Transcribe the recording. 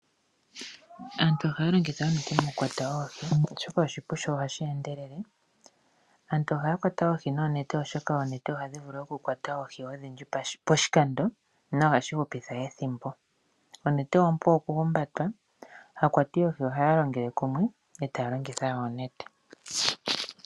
Aantu ohaya longitha onete oonene mokukwata oohi oshoka oshipu sho ohashi endelele. Aantu ohaya kwata oohi noonete oshoka oonete ohadhi vulu okukwata oohi odhindji poshikando, na ohashi hupitha ethimbo. Onete ompu okuhumbatwa, aakwati yoohi ohaya longele kumwe e taya longitha oonete.